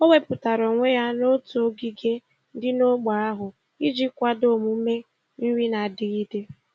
O wepụtara onwe ya n'otu ogige dị n'ógbè ahụ iji kwado omume nri na-adigide.